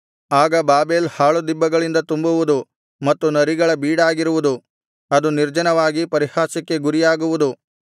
ಆಗ ಬಾಬೆಲ್ ಹಾಳುದಿಬ್ಬಗಳಿಂದ ತುಂಬುವುದು ಮತ್ತು ನರಿಗಳ ಬೀಡಾಗಿರುವುದು ಅದು ನಿರ್ಜನವಾಗಿ ಪರಿಹಾಸ್ಯಕ್ಕೆ ಗುರಿಯಾಗುವುದು